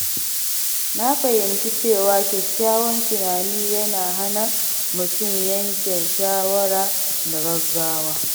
Na fahimci cewa kyakkyawan tunani yana hana mutum yanke shawara da gaggawa.